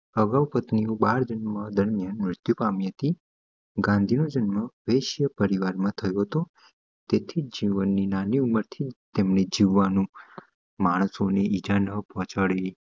મૃત્યુ પામી હતી ગાંધીનો જન્મ વેસ્યા પરિવાર માં થયુંતું તેથી જીવન ની નાની ઉંમરથી તેમને જીવાણુ માણસો ની ઇજા પોહચાડી